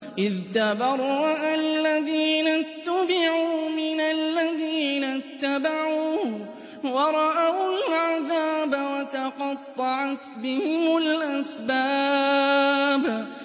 إِذْ تَبَرَّأَ الَّذِينَ اتُّبِعُوا مِنَ الَّذِينَ اتَّبَعُوا وَرَأَوُا الْعَذَابَ وَتَقَطَّعَتْ بِهِمُ الْأَسْبَابُ